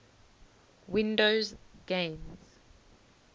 windows games